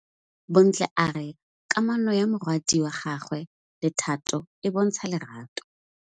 Bontle a re kamanô ya morwadi wa gagwe le Thato e bontsha lerato.